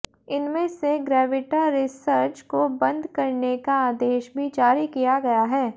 इनमें से Gravita research को बंद करने का आदेश भी जारी किया गया है